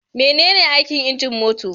Menene aikin injin mota?